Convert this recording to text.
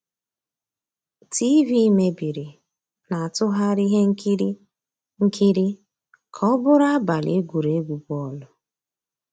TV meébìrí, ná-àtụ́ghàrị́ íhé nkírí nkírí ká ọ́ bụ́rụ́ àbàlí égwurégwu bọ́ọ̀lụ́.